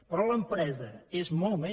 però l’empresa és molt més